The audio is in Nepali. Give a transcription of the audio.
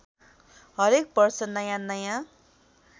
हरेक वर्ष नयाँनयाँ